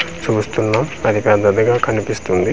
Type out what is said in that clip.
చూస్తున్నాం అది పెద్దదిగా కనిపిస్తుంది.